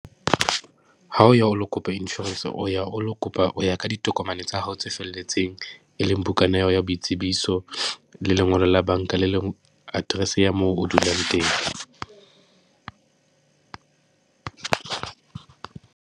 Ha o ya o lo kopa insurance, o ya o lo kopa, o ya ka ditokomane tsa hao tse felletseng. E leng bukana ya hao ya boitsebiso le lengolo la banka le leng, address-e ya moo o dulang teng.